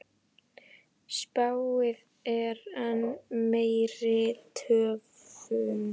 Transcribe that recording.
Spáð er enn meiri töfum.